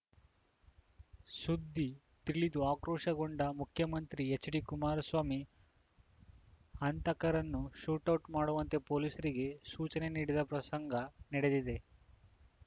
ಸುದ್ದಿ ತಿಳಿದು ಆಕ್ರೋಶಗೊಂಡ ಮುಖ್ಯಮಂತ್ರಿ ಎಚ್‌ಡಿಕುಮಾರಸ್ವಾಮಿ ಹಂತಕರನ್ನು ಶೂಟೌಟ್‌ ಮಾಡುವಂತೆ ಪೊಲೀಸರಿಗೆ ಸೂಚನೆ ನೀಡಿದ ಪ್ರಸಂಗ ನಡೆದಿದೆ